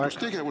Teie aeg!